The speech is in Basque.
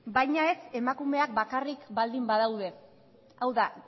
baina ez emakumeak bakarrik baldin badaude hau da